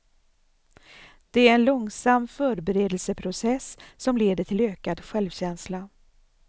Det är en långsam förberedelseprocess, som leder till ökad självkänsla.